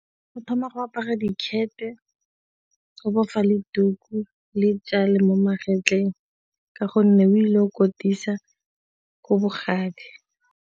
O thoma go apara dikhethe, o bofa le tuku le tšale mo magetleng ka gonne o ile kotisa ko bogadi.